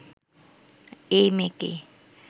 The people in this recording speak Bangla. এই মেয়েকেই